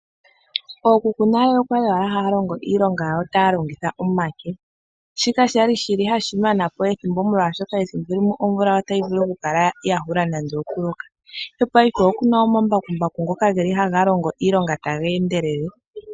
Ookuku nale okwali wala haya longo iilonga yawo taya longitha omake shoka shili hashi manapo ethimbo molwashoka ethimbo limwe omvula otayi vulu oku hula nando oku loka. Mopaife okuna omambakumbaku ngoka haga longo iilonga taga endelele.